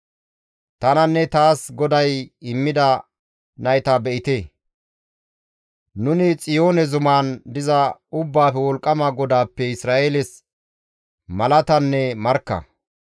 Tananne taas GODAY immida nayta be7ite. Nuni Xiyoone zuman diza Ubbaafe Wolqqama GODAAPPE Isra7eeles malatanne markka.